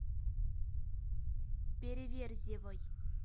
переверзевой